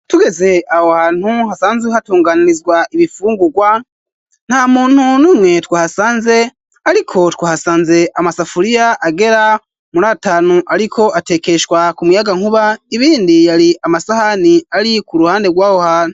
Tugeze awo hantu hasanzwe hatunganurizwa ibifungurwa nta muntu numwe twa ahasanze, ariko twahasanze amasafuriya agera muri atanu, ariko atekeshwa ku muyaga nkuba ibindi yari amasahani ari ku ruhande rwaho hanu.